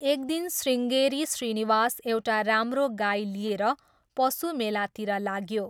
एक दिन श्रीङ्गेरी श्रीनिवास एउटा राम्रो गाई लिएर पशुमेलातिर लाग्यो।